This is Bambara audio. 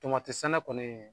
sɛnɛ kɔni